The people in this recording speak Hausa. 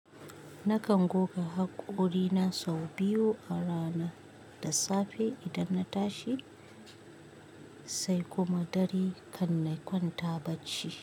Nakan goga haƙorina sau biyu a rana da safe idan na tashi sai kuma dare kan na kwanta bacci.